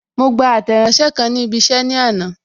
Mo gba Àtẹ̀ránsẹ́ kan ni ibi isẹ ní àná.